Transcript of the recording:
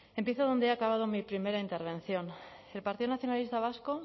empiezo donde he acabado mi primera intervención el partido nacionalista vasco